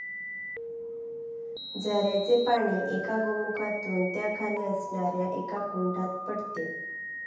झऱ्याचे पाणी एका गोमुखातून त्याखाली असणाऱ्या एका कुंडात पडते.